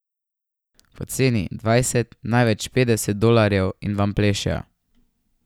Poceni, dvajset, največ petdeset dolarjev in vam plešejo.